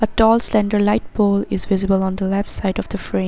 Talls central light pole is visible on the left side of the frame